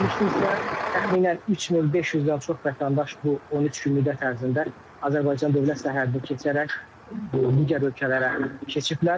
Ümumilikdə isə təxminən 3500-dən çox vətəndaş bu 13 gün müddət ərzində Azərbaycan dövlət sərhədini keçərək digər ölkələrə keçiblər.